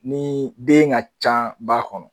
Ni den ka ca ba kɔnɔ.